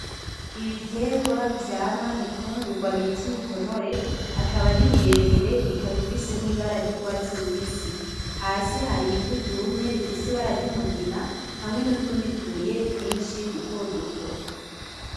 Ibiterwa vyama imfungurwa bita bita imitonore akaba ari miremire ikaba ifise nibara ryurwatsi rubisi, hasi harivu ryumye rifise ibara ryumugina kandi hariho nutundi tubuye twinshi duto duto.